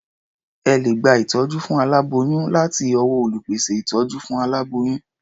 Ẹ lè gba ìtọ́jú fún aláboyún láti ọwọ́ olùpèsè ìtọ́jú fún aláboyún.